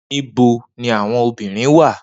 Nibo ni awọn obirin wa?